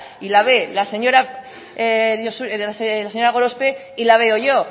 y la va la señora gorospe y la veo yo